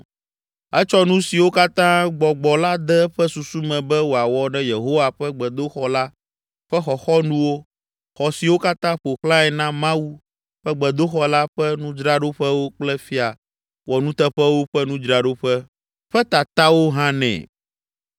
Etsɔ nu siwo katã gbɔgbɔ la de eƒe susu me be wòawɔ ɖe Yehowa ƒe gbedoxɔ la ƒe xɔxɔnuwo, xɔ siwo katã ƒo xlãe na Mawu ƒe gbedoxɔ la ƒe nudzraɖoƒewo kple fia wɔnuteƒewo ƒe nudzraɖoƒe ƒe tatawo hã nɛ.